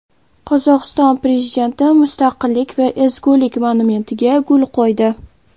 Qozog‘iston prezidenti Mustaqillik va ezgulik monumentiga gul qo‘ydi.